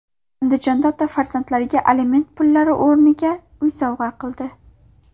Andijonlik ota farzandlariga aliment pullari o‘rniga uy sovg‘a qildi.